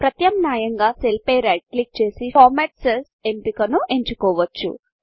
ప్రత్యామ్నాయంగా సెల్ పై right click చేసి ఫార్మాట్ cellsఫార్మ్యాట్ సెల్స్ ఎంపికను ఎంచుకోవచ్చు